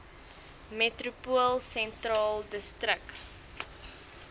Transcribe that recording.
metropool sentraal distrik